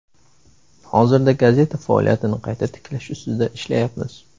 Hozirda gazeta faoliyatini qayta tiklash ustida ishlayapmiz.